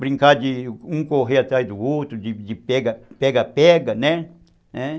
Brincar de um correr atrás do outro, de pega-pega pega-pega, né? É...